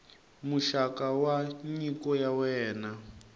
muxaka wa nyiko ya wena